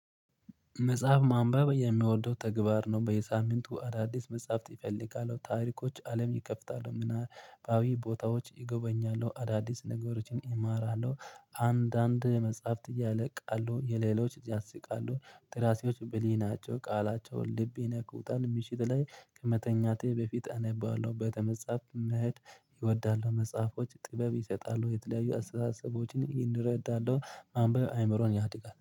መጽሐፍ ማንበብ የምወደው ተግባር ነው። በየሳምንቱ አዳዲስ መጽሐፍት እፈልጋሉ ታሪኮች አለም ይከፍታሉ ምናባዊ ቦታዎች ይጎበኛሉ አዳዲስ ነገሮችን ይማራሉ። አንዳንድ መጽሐፍት ያለቃሉ የሌሎች ያስቃሉ ደራሲዎች ብልህ ቃላቸውን ልቤ ይነካል። ምሽት ላይ ከመተኛቴ በፊት አነባለሁ ቤተ መጻፍ መሄድ እወዳለሁ። መጽሐፎች ጥበብ ይሰጣሉ የተለያዩ አስተሳሰቦችን እንረዳለን ማንበብ አይምሮን ያድጋል